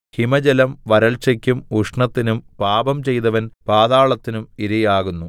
ഹിമജലം വരൾച്ചയ്ക്കും ഉഷ്ണത്തിനും പാപം ചെയ്തവൻ പാതാളത്തിനും ഇരയാകുന്നു